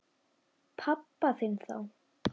Pabba þinn þá.